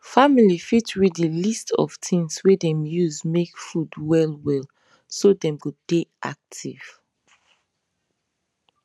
family fit read the list of things wey dem use make food well well so dem go dey active